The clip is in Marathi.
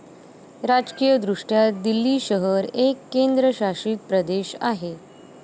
राजकीयदृष्ट्या दिल्ली शहर एक केंद्रशासित प्रदेश आहे.